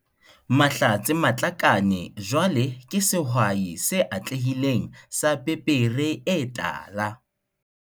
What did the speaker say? Mahlatse Matlakane jwale ke sehwai se atlehileng sa pepere e tala.